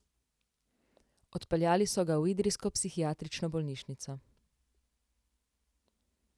Odpeljali so ga v idrijsko psihiatrično bolnišnico.